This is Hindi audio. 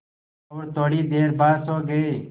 और थोड़ी देर बाद सो गए